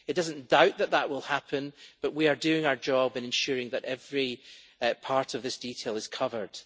It does not doubt that that will happen, but we are doing our job in ensuring that every part of this detail is covered.